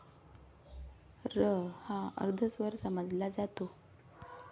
रहा अर्धस्वर समजला जातो.